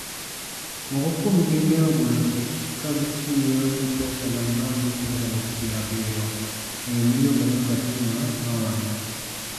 Moko kuomgi ne ogolo ich ka gitiyo gi pesa ma dirom rupees 70,000 ($933;£738)", Miyo miluongo ni Fatima nowacho.